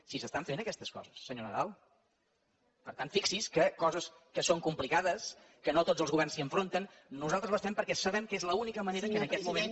si s’estan fent aquestes coses senyor nadal per tant fixi’s que coses que són complicades que no tots els governs s’hi enfronten nosaltres les fem perquè sabem que és l’única manera i que en aquest moment